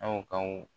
Aw ka